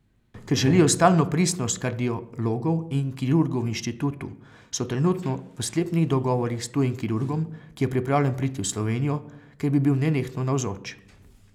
Ker želijo stalno pristnost kardiologov in kirurgov v inštitutu, so trenutno v sklepnih dogovorih s tujim kirurgom, ki je pripravljen priti v Slovenijo, kjer bi bil nenehno navzoč.